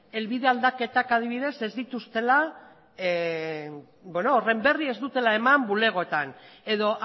helbide aldaketak adibidez ez dituztela horren berri ez dutela eman bulegoetan edo